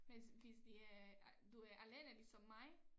Men hvis det er du er alene ligesom mig